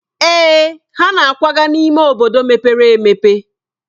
Èè, ha na-akwaga n'ime obodo mepere e.